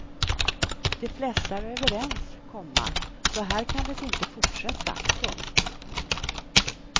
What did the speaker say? De flesta är överens, komma så här kan det inte fortsätta. punkt